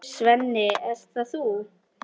Svenni, ert það þú!?